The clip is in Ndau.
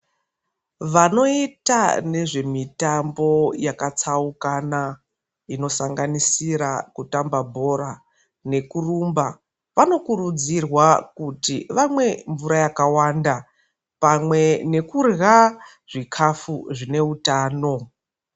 Vanoita nezvemitambo yakatsaukana inosanganisira kutamba bhora nekurumba vanokurudzirwa kuti vamwe mvura yakawanda pamwe nekurya zvikafu zvine utano.